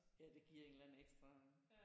Ja det giver en eller anden ekstra